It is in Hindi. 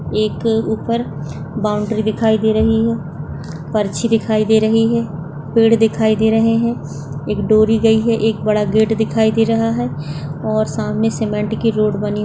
एक ऊपर बाउंडरी दिखाई दे रही है पर्ची दिखाई दे रही है पेड़ दिखाई दे रहे है एक डोरी गयी है एक बड़ा गेट दिखाई दे रहा है और सामने सीमेंट की रोड बनी --